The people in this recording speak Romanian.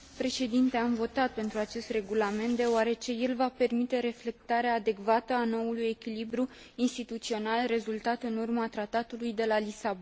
Am votat pentru acest regulament deoarece el va permite reflectarea adecvată a noului echilibru instituțional rezultat în urma Tratatului de la Lisabona.